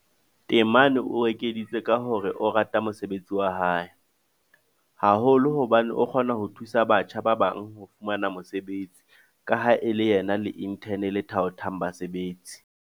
Temane o ekeditse ka hore o rata mosebetsi wa hae, haholo hobane o kgona ho thusa batjha ba bang ho fumana mesebetsi ka ha e le yena ya le-inthene le thaothang basebetsi.